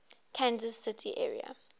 kansas city area